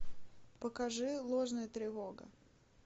покажи ложная тревога